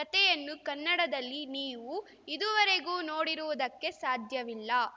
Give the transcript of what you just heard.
ಕತೆಯನ್ನು ಕನ್ನಡದಲ್ಲಿ ನೀವು ಇದುವರೆಗೂ ನೋಡಿರುವುದಕ್ಕೆ ಸಾಧ್ಯವಿಲ್ಲ